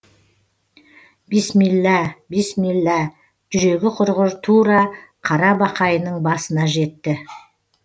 бисмилла бисмилла жүрегі құрғыр тура қара бақайының басына жетті